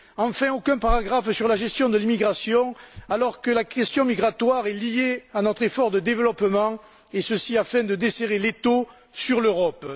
Enfin, aucun paragraphe ne traite de la gestion de l'immigration alors que la question migratoire est liée à notre effort de développement, et ce afin de desserrer l'étau sur l'Europe.